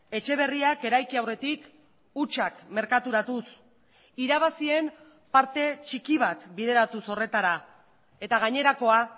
etxe berriak eraiki aurretik hutsak merkaturatuz irabazien parte txiki bat bideratuz horretara eta gainerakoa